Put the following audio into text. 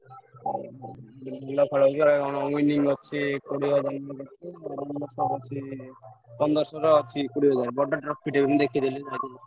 ଭଲ ଖେଳ ହଉଛି ବା କଣ winning ଅଛି କୋଡିଏ ହଜାର ନା ଅଛି କୋଡିଏ ହଜାର, ବଡ trophy ଟେ ମୁଁ ଦେଖିଥିଲି ଯାଇଥିଲି।